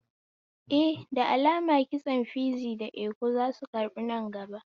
Eh, da alamun kitso fizi da iko zasu karbu nan gaba